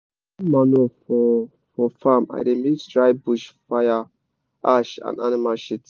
to get manure for for farm i dey mix dry bush fire ash and animal shit.